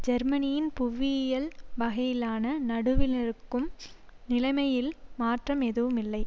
ஜெர்மனியின் புவியியல் வகையிலான நடுவிலிருக்கும் நிலைமையில் மாற்றம் எதும் இல்லை